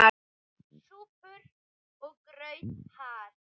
SÚPUR OG GRAUTAR